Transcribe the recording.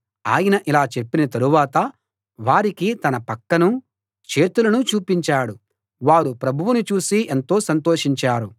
ఆయన అలా చెప్పిన తరువాత వారికి తన పక్కనూ చేతులనూ చూపించాడు వారు ప్రభువును చూసి ఎంతో సంతోషించారు